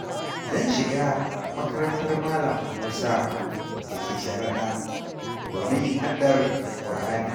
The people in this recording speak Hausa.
Zan shiga makarantar Malam Musa da ke sharaɗa, domin yin haddar Kur'ani.